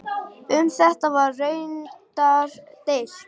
Um þetta var raunar deilt.